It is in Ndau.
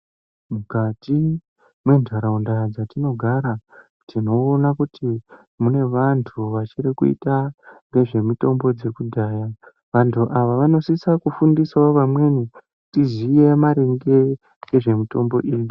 Mukati mentaraunda dzatinogara tinoona kuti mune vantu vachirikuita ngezvemitombo dzekudhaya. Vantu ava vanosisa kufundisawo vamweni, tiziye maringe ngezvemitombo iyi.